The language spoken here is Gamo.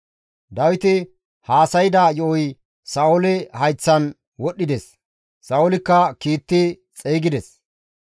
Dawiti haasayda yo7oy Sa7oole hayththan wodhdhides; Sa7oolikka kiitti xeygides.